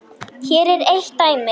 Hér er eitt dæmi.